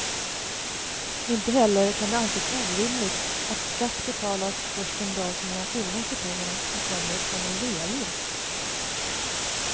Inte heller kan det anses orimligt att skatt betalas först den dag som man har tillgång till pengarna som kommer från en reavinst.